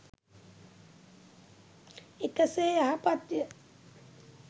එකසේ යහපත් ය.